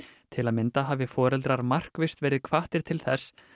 til að mynda hafa foreldrar markvisst verið hvattir til þess